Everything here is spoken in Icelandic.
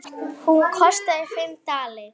Hún kostaði fimm dali.